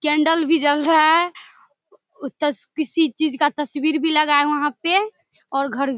candle भी जल रहा है उ तस किसी चीज का तस्वीर भी लगा है वहाँ पर और घर --